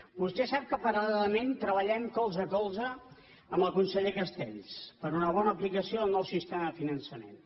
vostè sap que paral·lelament treballem colze a colze amb el conseller castells per a una bona aplicació del nou sistema de finançament